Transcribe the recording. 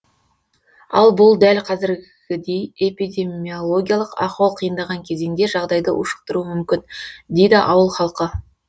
ал бұл дәл қазіргідей эпидемиологиялық ахуал қиындаған кезеңде жағдайды ушықтыруы мүмкін дейді ауыл халқы